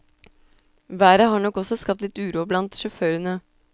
Været har nok også skapt litt uro blant sjåførene.